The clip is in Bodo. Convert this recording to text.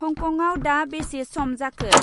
हंकंआव दा बेसे सम जाखो?